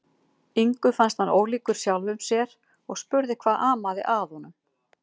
Ingu fannst hann ólíkur sjálfum sér og spurði hvað amaði að honum.